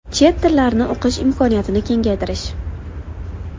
Chet tillarni o‘qish imkoniyatini kengaytirish.